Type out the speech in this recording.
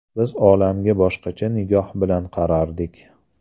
Biz olamga boshqacha nigoh bilan qarardik.